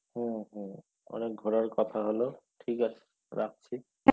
হম হম অনেক ঘোরার কথা হলো ঠিক আছে রাখছি।